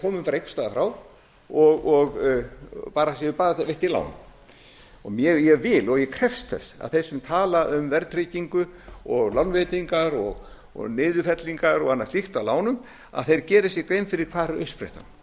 hlið á medalíunni að peningarnir komi bara einhvers staðar frá bara veittu lán ég vil og ég krefst þess að þeir sem tala um verðtryggingu og lánveitingar og niðurfellingar og annað slíkt af lánum geri sér grein fyrir hvar er uppsprettan uppsprettan